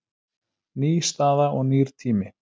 Ný staða og nýr tími